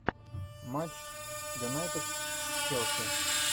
матч юнайтед с челси